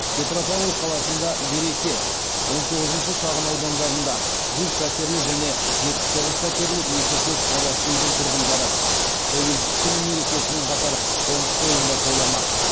петропавл қаласында береке он тоғызыншы шағын аудандарында жүз пәтерлі және жетпіс тоғыз пәтерлі екі көп қабатты үйдің тұрғындары тәуелсіздік күні мерекесімен қатар қоныс тойын да тойламақ